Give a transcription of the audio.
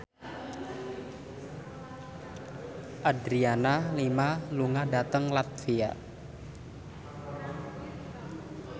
Adriana Lima lunga dhateng latvia